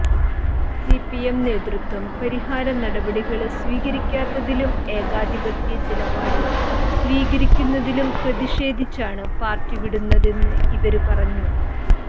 CPM നേതൃത്വം പരിഹാര നടപടികള് സ്വീകരിക്കാത്തതിലും ഏകാധിപത്യ നിലപാട് സ്വീകരിക്കുന്നതിലും പ്രതിഷേധിച്ചാണ് പാര്ട്ടി വിടുന്നതെന്ന് ഇവര് പറഞ്ഞു